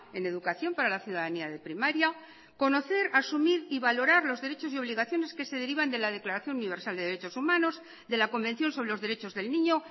en educación para la ciudadanía de primaria conocer asumir y valorar los derechos y obligaciones que se derivan de la declaración universal de derechos humanos de la convención sobre los derechos del niño